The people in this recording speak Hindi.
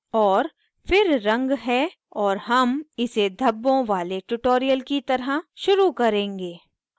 और फिर रंग है और हम इसे धब्बों वाले tutorial की तरफ शुरू करेंगे